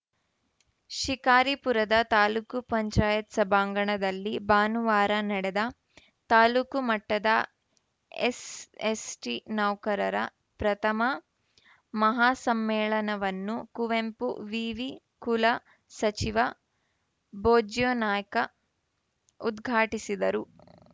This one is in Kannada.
ಶಿಕಾರಿಪುರದ ತಾಲೂಕ್ ಪಂಚಾಯತ್ ಸಭಾಂಗಣದಲ್ಲಿ ಭಾನುವಾರ ನಡೆದ ತಾಲೂಕು ಮಟ್ಟದ ಎಸ್ ಎಸ್ಟಿನೌಕರರ ಪ್ರಥಮ ಮಹಾಸಮ್ಮೇಳನವನ್ನು ಕುವೆಂಪು ವಿವಿ ಕುಲಸಚಿವ ಬೋಜ್ಯಾನಾಯ್ಕ ಉದ್ಘಾಟಿಸಿದರು